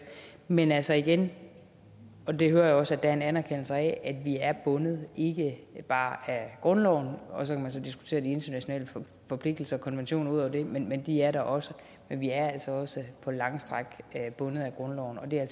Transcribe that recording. men altså igen og det hører jeg også der er en anerkendelse af vi er bundet ikke bare af grundloven og så kan man så diskutere de internationale forpligtelser og konventioner udover det men men de er der også men vi er altså også på lange stræk bundet af grundloven og det er